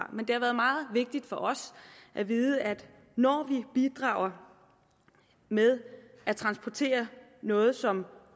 men det har været meget vigtigt for os at vide at når vi bidrager med at transportere noget som